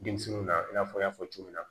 Denmisɛnninw na i n'a fɔ n y'a fɔ cogo min na